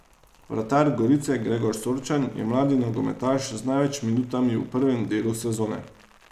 Vratar Gorice Gregor Sorčan je mladi nogometaš z največ minutami v prvem delu sezone.